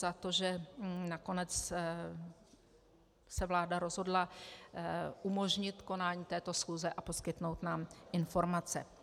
Za to, že nakonec se vláda rozhodla umožnit konání této schůze a poskytnout nám informace.